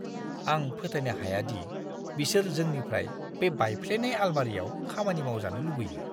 आं फोथायनो हाया दि बिसोर जोंनिफ्राय बे बायफ्लेनाय आलमारियाव खामानि मावजानो लुबैयो!